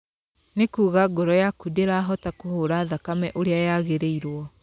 Nĩ kuga ngoro yaku ndĩrahota kũhũra thakame ũrĩa yagĩrĩirwo.